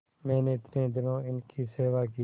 मैंने इतने दिनों इनकी सेवा की